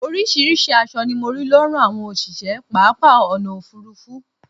oríṣiríṣi aṣọ ni mo rí lọ́rùn àwọn òṣìṣẹ́ pápá ọ̀nà òfurufú